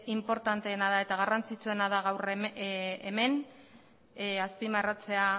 inportanteena da eta garrantzitsuetan da gaur hemen azpimarratzea